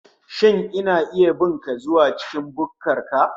Shin ina iya bin ka zuwa cikin bukkar ka